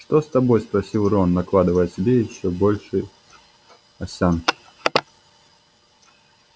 что с тобой спросил рон накладывая себе ещё больше овсянки